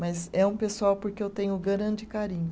Mas é um pessoal porque eu tenho grande carinho.